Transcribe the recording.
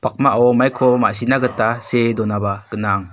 maiko ma·sina gita see donaba gnang.